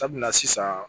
Sabula sisan